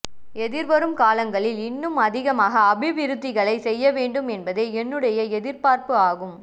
எதிர்வரும் காலங்களில் இன்னும் அதிகமான அபிவிருத்திகளை செய்ய வேண்டும் என்பதே என்னுடைய எதிர்பார்ப்பு ஆகும்